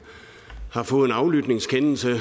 har fået en aflytningskendelse